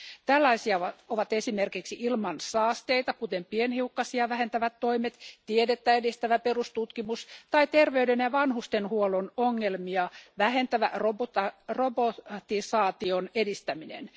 Tällaisia ovat esimerkiksi ilmansaasteita kuten pienhiukkasia vähentävät toimet, tiedettä edistävä perustutkimus tai terveyden ja vanhustenhuollon ongelmia vähentävä robotisaation edistäminen.